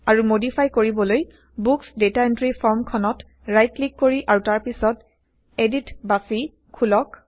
আৰু মডিফাই কৰিবলৈ books data entry formখনত ৰাইট ক্লিক কৰি160 আৰু তাৰ পিছত এডিট বাচি খোলক